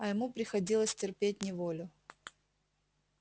а ему приходилось терпеть неволю